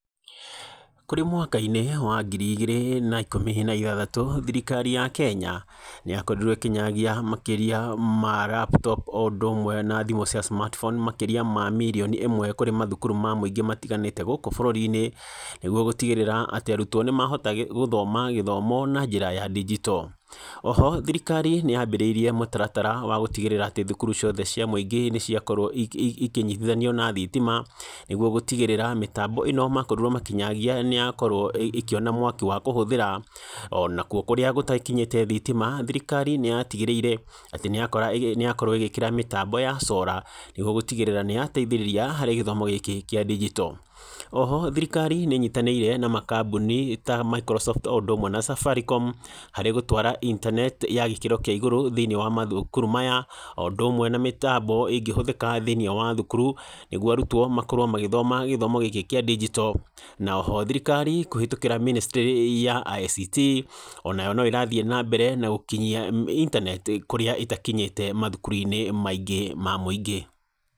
Kũrĩ mwakainĩ wa ngiri igĩrĩ na ikũmi na ithathatũ thirikari ya Kenya nĩyakorirwo ĩkĩnyagia makĩria ma laptop o ũndũmwe na thimũ cia smartphone makĩria ma mirioni ĩmwe kũrĩ mathukuru ma mũingĩ matiganĩte gũkũ bũrũrinĩ, nĩguo gũtigĩrĩra atĩ arutwo nĩmahota gũthoma gĩthomo na njĩra ya ndigito. Oho thirikari nĩyambĩrĩirie mũtaratara wa gũtigĩrĩra atĩ thukuru ciothe cia mũingĩ nĩciakorwo ikĩnyitithanio na thitima nĩguo gũtigĩrĩra mĩtambo ĩno makorirwo makĩnyagia nĩyakorwo ĩkĩona mwaki wa kũhũthĩra. Ona kũrĩa gũtakinyĩte thitima thirikari nĩyatigĩrĩire nĩyakorwo ĩgĩkĩra mĩtambo ya sora nĩguo gũtigĩrĩra nĩyateithĩrĩria harĩ gĩthomo gĩkĩ kĩa ndigito. Oho thirikari nĩnyitanĩire na makambũni ta Microsoft o ũndũmwe na Safaricom harĩ gũtwara intaneti ya gĩkĩro kĩa igũrũ thĩinĩ wa mathukuru maya o ũndũmwe na mĩtambo ĩngĩhũthĩka thĩinĩ wa thukuru, nĩguo arutwo makorwo magĩthoma gĩthomo gĩkĩ kĩa ndigito. Na oho thirikari kũhĩtũkĩra mĩnĩstrĩ ya ICT o nayo no ĩrathiĩ na mbere na gũkinyia intaneti kũrĩa ĩtakinyĩte mathukuruinĩ maingĩ ma mũingĩ.